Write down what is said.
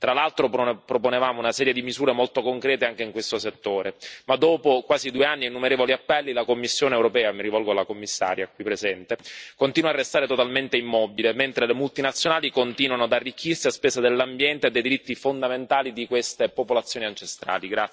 Tra l'altro, proponevamo una serie di misure molto concrete anche in questo settore ma, dopo quasi due anni e innumerevoli appelli, la Commissione europea, e mi rivolgo alla Commissaria qui presente continua a restare totalmente immobile mentre le multinazionali continuano ad arricchirsi a spese dell'ambiente e dei diritti fondamentali di queste popolazioni ancestrali.